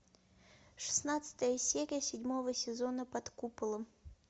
шестнадцатая серия седьмого сезона под куполом